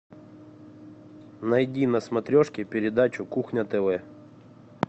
найди на смотрешке передачу кухня тв